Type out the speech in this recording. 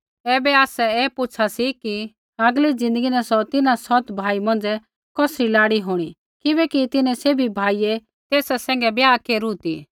ऐबै आसै ऐ पुछ़ा सी कि आगली ज़िन्दगी न सौ तिन्हां सौत भाई मौंझ़ै कौसरी लाड़ी होंणी किबैकि तिन्हैं सैभी भाइयै तेसा सैंघै ब्याह केरू ती